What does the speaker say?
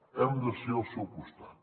hem de ser al seu costat